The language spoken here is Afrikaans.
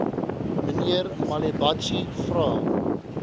mnr malebatsi vra